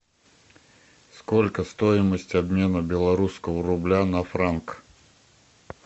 сколько стоимость обмена белорусского рубля на франк